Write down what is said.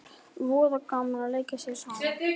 Voða gaman að leika sér saman